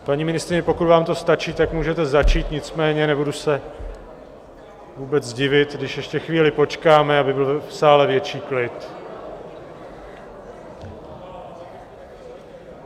Paní ministryně, pokud vám to stačí, tak můžete začít, nicméně nebudu se vůbec divit, když ještě chvíli počkáme, aby byl v sále větší klid.